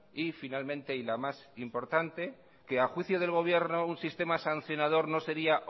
y finalmente y la más importante que a juicio del gobierno un sistema sancionador no sería